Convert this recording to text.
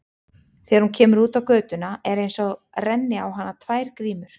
Þegar hún kemur út á götuna er einsog renni á hana tvær grímur.